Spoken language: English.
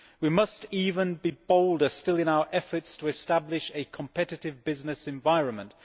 We must be bolder still in our efforts to establish a competitive business environment.